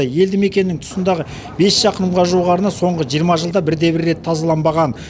елді мекеннің тұсындағы бес шақырымға жуық арна соңғы жиырма жылда бірде бір рет тазаланбаған